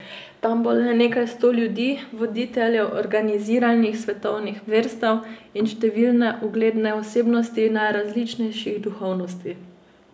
Tam bo le nekaj sto ljudi, voditeljev organiziranih svetovnih verstev in številne ugledne osebnosti najrazličnejših duhovnosti.